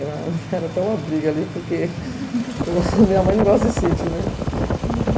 Era até uma briga ali, porque a minha mãe não gosta de sítio, né? Uhum